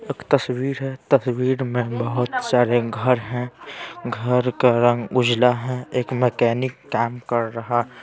एक तस्वीर हैं तस्वीर में बहुत सारे घर हैं घर का रंग उजला हैं एक मैकेनिक काम कर रहा--